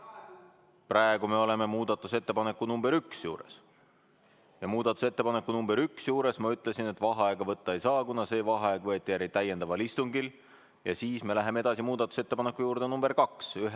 Praegu me oleme muudatusettepaneku nr 1 juures ja ma ütlesin, et muudatusettepaneku nr 1 juures vaheaega võtta ei saa, kuna see vaheaeg võeti täiendaval istungil, ja siis me läheme edasi muudatusettepaneku nr 2 juurde.